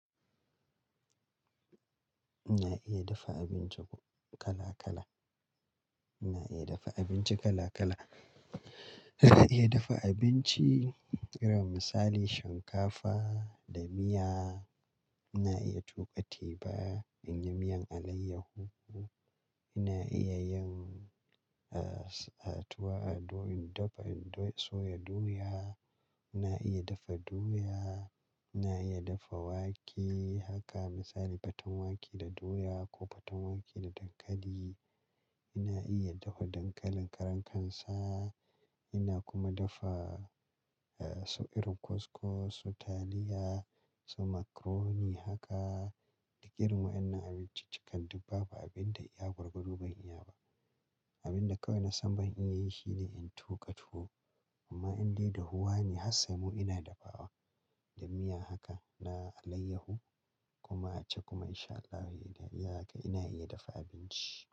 Ina iya dafa abinci kala kala. Ina iya dafa abinci kala kala. Ina iya dafa abinci irin misali shinkafa da miya. Ina iya tuƙa teba in yi miyan alayyahu. Ina iya yin, ah, tuwa a do-- in dafa-- in soya doya. Ina iya dafa doya. Ina iya dafa wake haka misali faten wake da doya ko faten wake da dankali. Ina iya dafa dankalin karan kansa. Ina kuma dafa, ah, so irin koskos, so taliya, so makaroni haka. Irin wannan abinci cikakkan duk babu abunda iya gwargwado ban iya ba. Abunda kawai na san ban iya yi shi ne in tuƙa tuwo. Amma in dai dahuwa ne har saimo ina dafawa da miya haka na alayyahu kuma a ci kuma insha Allah wai da iya haka ina iya dafa abinci.